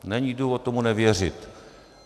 Není důvod tomu nevěřit.